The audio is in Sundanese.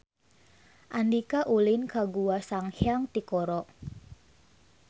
Andika ulin ka Gua Sanghyang Tikoro